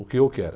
O que eu quero.